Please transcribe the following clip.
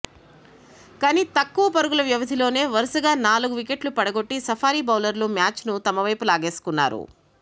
కానీ తక్కువ పరుగుల వ్యవధిలోనే వరుసగా నాలుగు వికెట్లు పడగొట్టి సఫారీ బౌలర్లు మ్యాచ్ను తమవైపు లాగేసుకున్నారు